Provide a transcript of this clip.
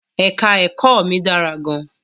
Èka-ẹ̀kọ́ mi dára gan-an.